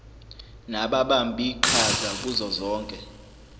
nababambiqhaza kuzo zonke